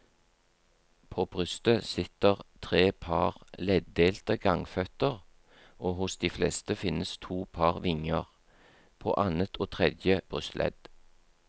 På brystet sitter tre par leddelte gangføtter og hos de fleste finnes to par vinger, på annet og tredje brystledd.